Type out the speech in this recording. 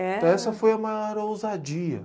Então essa foi a maior ousadia.